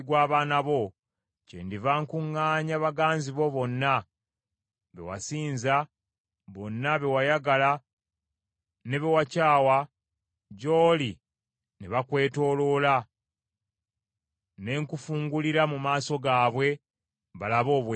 kyendiva nkuŋŋaanya baganzi bo bonna, be wasinza, bonna be wayagala ne be wakyawa, gy’oli ne bakwetooloola, ne nkufungulirira mu maaso gaabwe, balabe obwereere bwo.